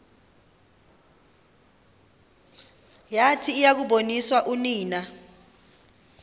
yathi yakuboniswa unina